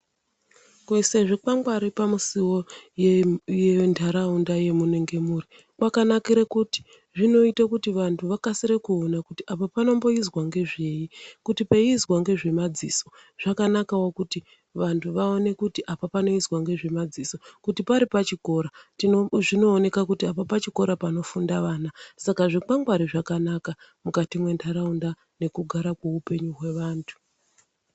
Kuisa zvikwangwari pamusiwo yendaraunda yamunenge muri kwakanakira kuti zvinoita kuti vantu vakasire kuona kuti apa panoitwa ngezvei ,kuti peiizwa ngezvemadziso ,zvakanakwo kuti vantu vaone kuti apa panoizwa ngezvemadziso ,kuti pari pachikora ,zvinooneka kuti apa pachikora panofunde ana ,saka zvikwangwari zvakanaka mundaraunda nekugara kwehupenyu hwevantu.